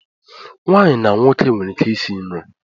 Nwaanyi na nwoke nwere ike isi nri.